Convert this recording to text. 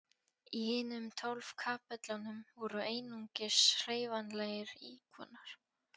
Í hinum tólf kapellunum voru einungis hreyfanlegir íkonar.